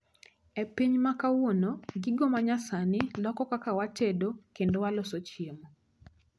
E piny makawuono, gigo manyasani loko kaka watedo kendo waloso chiemo